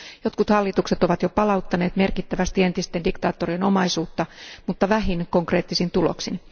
Jotkut hallitukset ovat jo palauttaneet merkittävästi entisten diktaattorien omaisuutta, mutta vähin konkreettisin tuloksin.